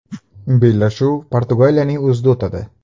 Bellashuv Portugaliyaning o‘zida o‘tadi.